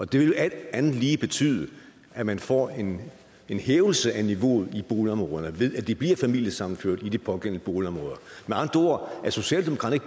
det vil alt andet lige betyde at man får en hævelse af niveauet i boligområderne ved at de bliver familiesammenført i de pågældende boligområder med andre ord er socialdemokraterne